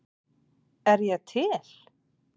Er ég til?